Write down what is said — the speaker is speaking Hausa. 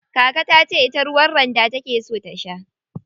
Kaka tace ita ruwa randa take so ta sha.